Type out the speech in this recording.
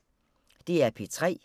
DR P3